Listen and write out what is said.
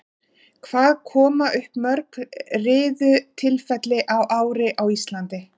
Hvað koma upp mörg riðutilfelli á ári á Íslandi?